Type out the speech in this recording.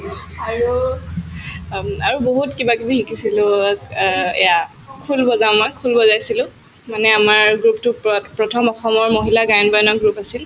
অম্ আৰু বহুত কিবাকিবি শিকিছিলো অ এয়া খোল বজাও মই খোল বজাইছিলো মানে আমাৰ group তো প্ৰথ প্ৰথম অসমৰ মহিলা গায়ন-বায়নৰ group আছিল